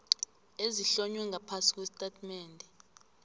ezihlonywe ngaphasi kwesitatimende